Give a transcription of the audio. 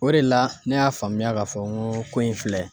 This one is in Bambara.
O de la ,ne y'a faamuya ka fɔ n go ko in filɛ